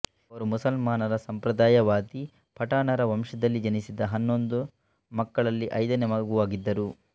ಅವರು ಮುಸಲ್ಮಾನರ ಸಂಪ್ರದಾಯವಾದಿ ಪಠಾಣರ ವಂಶದಲ್ಲಿ ಜನಿಸಿದ ಹನ್ನೊಂದು ಮಕ್ಕಳಲ್ಲಿ ಐದನೇ ಮಗುವಾಗಿದ್ದರು